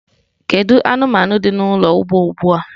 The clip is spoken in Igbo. Kedu anụmanụ dị n'ụlọ ugbo ugbu a?